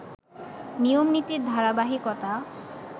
নিয়ম-নীতির ধারাবাহিকতা